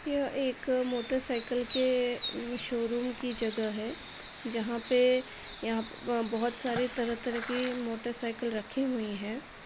यह एक motorcycle के अ शोरूम की जगह है जहां पे यहाँ बहुत सारे तरह-तरह के मोटर साइकल रखे हुई हैं।